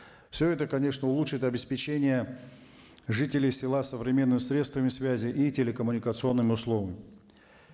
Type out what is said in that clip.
все это конечно улучшит обеспечение жителей села современными средствами связи и телекоммуникационными